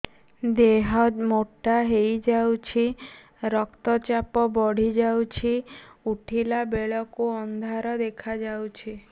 ଦେହ ମୋଟା ହେଇଯାଉଛି ରକ୍ତ ଚାପ ବଢ଼ି ଯାଉଛି ଉଠିଲା ବେଳକୁ ଅନ୍ଧାର ଦେଖା ଯାଉଛି